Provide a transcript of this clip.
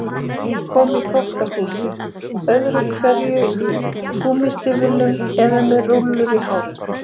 Mamma kom inn í þvottahúsið öðru hverju í gúmmístígvélum og með rúllur í hárinu.